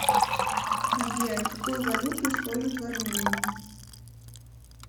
сбер какую валюту используют в армении